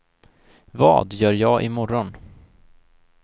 vad gör jag imorgon